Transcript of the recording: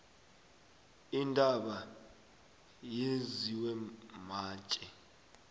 intaba yenziwe matje